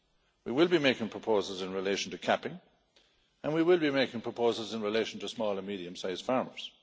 We will be making proposals in relation to capping and we will be making proposals in relation to small and medium sized farmers.